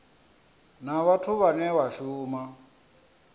na vhathu vhane vha shuma